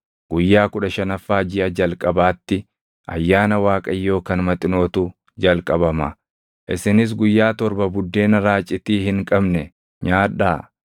Guyyaa kudha shanaffaa jiʼa jalqabaatti Ayyaana Waaqayyoo kan maxinootu jalqabama; isinis guyyaa torba buddeena raacitii hin qabne nyaadhaa.